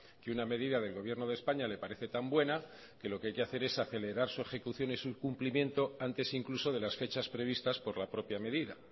que una medida del gobierno de españa le parece tan buena que lo que hay que hacer es acelerar su ejecución y su cumplimiento antes incluso de las fechas previstas por la propia medida